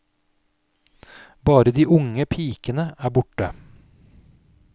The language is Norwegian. Bare de unge pikene er borte.